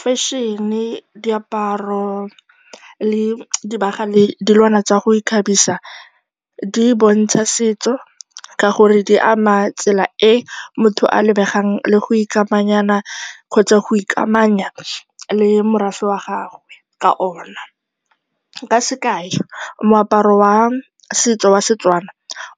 Fashion-e, diaparo le dibagwa le dilwana tsa go ikgabisa di bontsha setso ka gore di ama tsela e motho a lebegang le go ikamanyanyana kgotsa go ikamanya le morafe wa gagwe ka ona. Ka sekai, moaparo wa setso wa Setswana